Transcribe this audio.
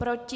Proti?